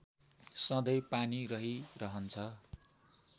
सधैँ पानी रहिरहन्छ